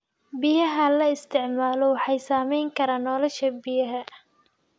Biyaha la isticmaalo waxay saamayn karaan nolosha biyaha.